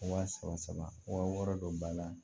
Wa saba saba wɔɔrɔ don ba la